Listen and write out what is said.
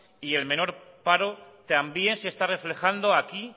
y el menor paro también se está reflejando aquí